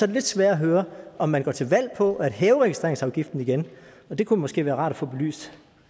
lidt sværere at høre om man går til valg på at hæve registreringsafgiften igen det kunne måske være rart at få belyst